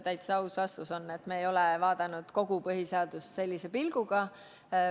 Täitsa aus vastus on, et me ei ole vaadanud kogu põhiseadust sellise pilguga.